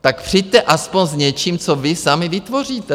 Tak přijďte aspoň s něčím, co vy sami vytvoříte!